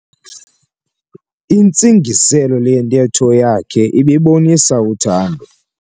Intsingiselo yentetho yakhe ibibonisa uthando.